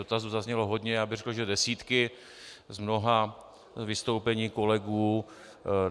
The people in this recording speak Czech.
Dotazů zaznělo hodně, já bych řekl, že desítky, z mnoha vystoupení kolegů.